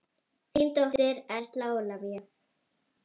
Þín dóttir, Erla Ólafía.